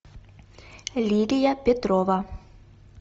лидия петрова